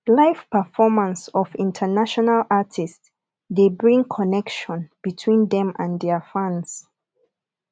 live performance of international artists de bring connection between them and their fans